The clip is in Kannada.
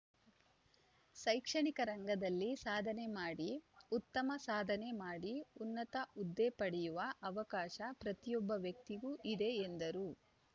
ಶೈಕ್ಷಣಿಕ ರಂಗದಲ್ಲಿ ಸಾಧನೆ ಮಾಡಿ ಉತ್ತಮ ಸಾಧನೆ ಮಾಡಿ ಉನ್ನತ ಹುದ್ದೆ ಪಡೆಯುವ ಅವಕಾಶ ಪ್ರತಿಯೊಬ್ಬ ವ್ಯಕ್ತಿಗೂ ಇದೆ ಎಂದರು